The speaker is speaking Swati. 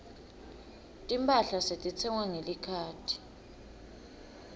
timphahla setitsengwa ngelikhadi